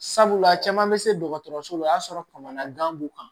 Sabula caman bɛ se dɔgɔtɔrɔso la o y'a sɔrɔ kɔnɔna gan b'u kan